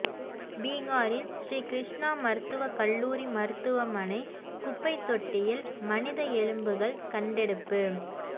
பீகாரில் ஸ்ரீ கிருஷ்ணா மருத்துவக் கல்லூரி மருத்துவமனை குப்பைத்தொட்டியில் மனித எலும்புகள் கண்டெடுப்பு